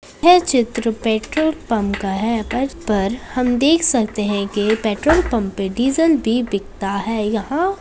यह चित्र petrol pump का है पंप पर हम देख सकते हैं के पेट्रोल पंप पे डीजल भी बिकता है यहाँ।